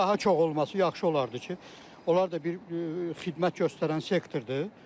Daha çox olması yaxşı olardı ki, onlar da bir xidmət göstərən sektordur.